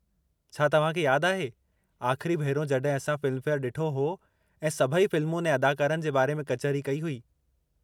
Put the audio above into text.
छा तव्हांखे यादु आहे आख़िरी भेरो जड॒हिं असां फ़िल्मफेयर डि॒ठो हो ऐं सभई फ़िल्मुनि ऐं अदाकारनि जे बारे में कचहरी कई हुई।